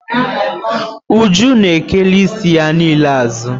Uju na ekela isi ya niile azụ.